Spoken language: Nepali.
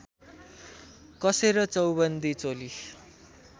कसेर चौबन्दी चोली